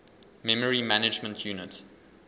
memory management unit